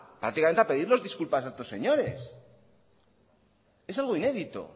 prácticamente a pedirles disculpas a estos señores es algo inédito